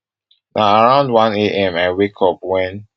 na around one am i wake up wen